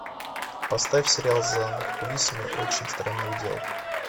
поставь сериал за кулисами очень странных дел